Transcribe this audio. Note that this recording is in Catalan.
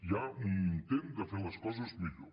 hi ha un intent de fer les coses millor